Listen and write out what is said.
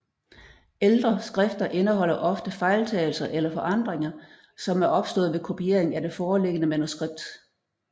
Ældre skrifter indeholder ofte fejltagelser eller forandringer som er opstået ved kopiering af det foreliggende manuskript